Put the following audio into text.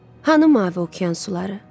Hanı mavi okean suları?